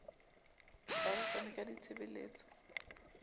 ya ho fana ka ditshebeletso